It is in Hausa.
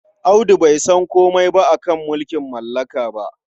Audu bai san komai a ka mulking mallaka ba.